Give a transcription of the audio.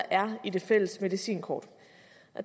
er i det fælles medicinkort